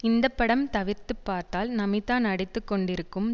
இந்த படம் தவிர்த்து பார்த்தால் நமிதா நடித்து கொண்டிருக்கும்